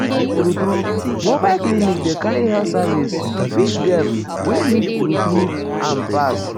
true-true mobile clinic dey carry health service reach dem wey needtrue-true am pass.